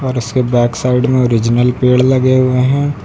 और उसके back side में ओरिजिनल पेड़ लगे हुए हैं।